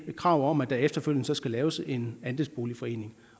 kravet om at der efterfølgende så skal laves en andelsboligforening